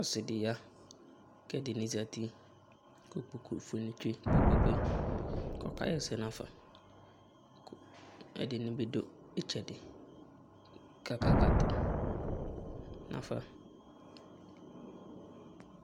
ɔsidiya kɛ ɛdini zati ku ikpoku tsɛ kpɛkpɛ kɔkaɛsɛ nafa ku ɛdinibu ɩtsɛdi kakakatu nafa